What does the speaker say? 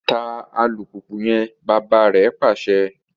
Ta alupupu yẹn! bàbà rè pàṣẹ